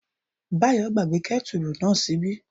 Báyọ̀ gbàgbé kẹ́tùrù náà ṣíbí